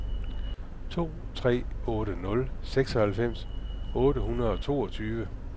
to tre otte nul seksoghalvfems otte hundrede og toogtyve